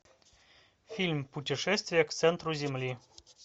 фильм путешествие к центру земли